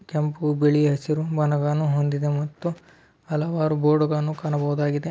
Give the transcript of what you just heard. ಕೆಂಪು ಬಿಳಿ ಹಸಿರು ಮೊನಾಗನು ಒಂದಿದೆ ಮತ್ತು ಹಲವಾರು ಬೋರ್ಡ್ ಗಳನ್ನೂ ಕಾಣಬಹುದಾಗಿದೆ.